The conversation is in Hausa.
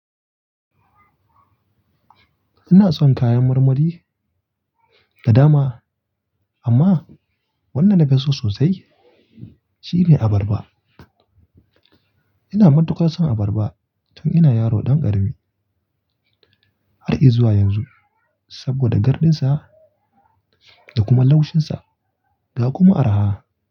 Ina son kayan marmari da dama amma wanda nafi so sosai shine abarba. Ina matukar son abarba tun ina yaro dan karami har zuwa yanzu saboda gardinsa da kuma laushinsa da kuma arha.